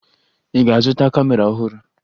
Ị ga-azụta kamera ọhụrụ?